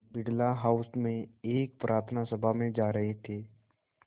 Birla house में एक प्रार्थना सभा में जा रहे थे